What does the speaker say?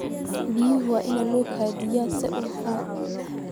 Biyaha waa in loo kaydiyaa si hufan.